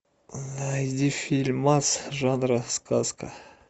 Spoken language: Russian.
найди фильм жанра сказка